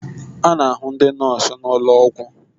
A na-ahụ ndị nọọsụ n'ụlọ ọgwụ